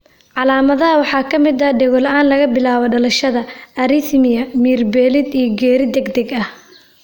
Calaamadaha waxaa ka mid ah dhego-la'aan laga bilaabo dhalashada, arrhythmia, miyir beelid, iyo geeri degdeg ah.